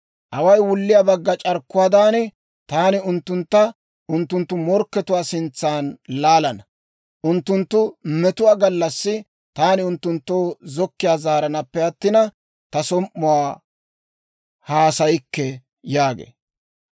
Away wulliyaa bagga c'arkkuwaadan, taani unttuntta unttunttu morkkatuwaa sintsan laalana. Unttunttu metuwaa gallassi taani unttunttoo zokkiyaa zaaranaappe attina, ta som"uwaa haasayikke» yaagee.